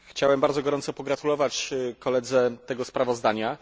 Chciałem bardzo gorąco pogratulować koledze tego sprawozdania.